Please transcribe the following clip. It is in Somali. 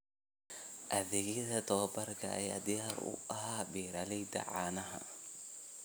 Adeegyada tababarka ayaa diyaar u ah beeralayda caanaha.